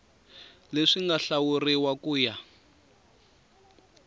leswi nga hlawuriwa ku ya